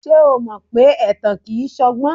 Ṣé o mọ pé ẹ̀tàn kìí ṣọgbọ́n?